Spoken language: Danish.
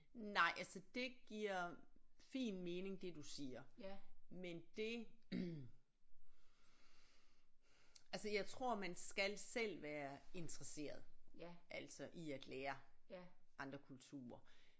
Nej altså det giver fin mening det du siger men det altså jeg tror man skal selv være interesseret altså i at lære andre kulturer